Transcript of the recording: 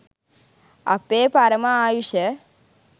අපේ පරම ආයුෂ